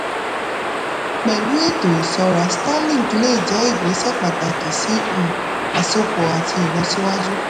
pẹ̀lú ètò ìṣọ́ra starlink lè jẹ́ ìgbésẹ̀ pàtàkì sí um àsopọ̀ àti ìlọsíwájú.